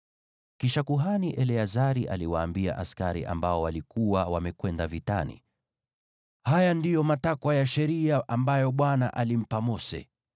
Kisha kuhani Eleazari aliwaambia askari waliokuwa wamekwenda vitani, “Haya ndiyo matakwa ya sheria ambayo Bwana alimpa Mose: